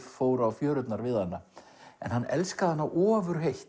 fóru á fjörurnar við hana en hann elskaði hana